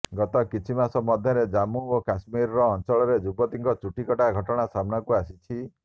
ଗତ କିଛି ମାସ ମଧ୍ୟରେ ଜାମ୍ମୁ ଓ କାଶ୍ମୀର ଅଞ୍ଚଳରେ ଯୁବତୀଙ୍କ ଚୁଟି କଟା ଘଟଣା ସମ୍ନାକୁ ଆସିଛି